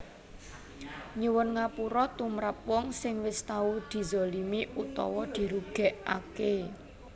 Nyuwun ngapura tumrap wong sing wis tau dizalimi utawa dirugékaké